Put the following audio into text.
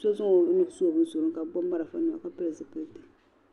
so zaŋ onuhi su o bin surigu ni kabi gbubi marafanima kapili zipilisi